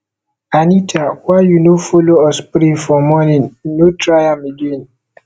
anita why you no follow us pray for morning no try am again